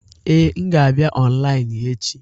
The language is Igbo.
Ee, m ga-abịa ọnlaịnụ echi.